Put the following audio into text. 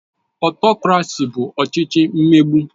Ọtokrasi bụ ọchịchị mmegbu